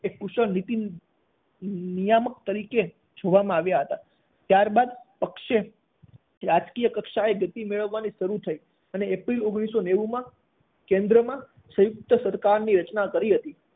એક કુશળ નીતિનીયામક તરીકે જોવામાં આવ્યા હતા ત્યારબાદ પક્ષે રાજકીય કક્ષાએ ગતિ મેળવવાની શરૂ થઇ અને એપ્રિલ ઓગણીસો નેવું માં કેન્દ્રમાં સંયુક્ત સરકારની રચના કરી હતી.